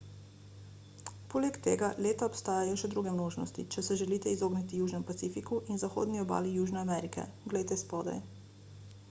poleg tega leta obstajajo še druge možnosti če se želite izogniti južnemu pacifiku in zahodni obali južne amerike glejte spodaj